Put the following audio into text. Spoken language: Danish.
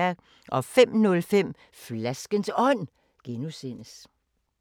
05:05: Flaskens Ånd (G)